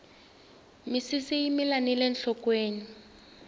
misisi yi mila nile nhlokweni